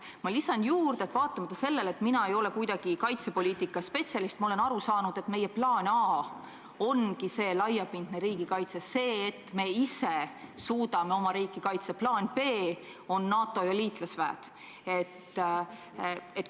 Ma lisan juurde, et vaatamata sellele, et mina ei ole kuidagi kaitsepoliitika spetsialist, ma olen aru saanud, et meie plaan A ongi see laiapindne riigikaitse – see, et me ise suudame oma riiki kaitsta – ning plaan B on NATO ja liitlasväed.